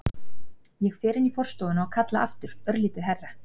Ég fer inn í forstofuna og kalla aftur, örlítið hærra.